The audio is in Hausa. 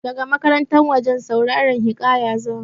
Daga makaranta wajen sauraran hiƙaya za mu.